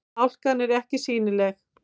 Hálkan er ekki sýnileg